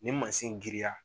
Nin mansi giriya